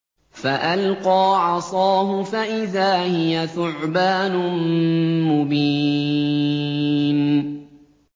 فَأَلْقَىٰ عَصَاهُ فَإِذَا هِيَ ثُعْبَانٌ مُّبِينٌ